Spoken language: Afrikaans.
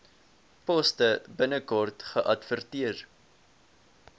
poste binnekort geadverteer